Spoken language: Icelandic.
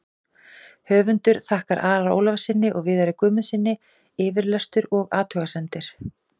Höfundur þakkar Ara Ólafssyni og Viðari Guðmundssyni yfirlestur og athugasemdir.